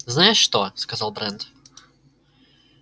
знаешь что сказал брент